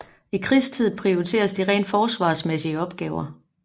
I krigstid prioriteres de rent forsvarsmæssige opgaver